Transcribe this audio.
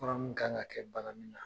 Fura mun kan ka kɛ bana min na